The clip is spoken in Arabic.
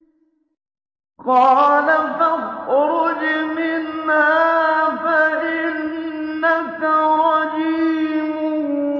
قَالَ فَاخْرُجْ مِنْهَا فَإِنَّكَ رَجِيمٌ